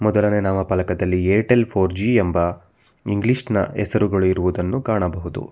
ಮೊದಲನೇ ನಾಮಪಲಕದಲ್ಲಿ Airtel four G ಎಂಬ ಇಂಗ್ಲೀಷ್ನ ಹೆಸರುಗಳು ಇರುವುದನ್ನು ಕಾಣಬಹುದು.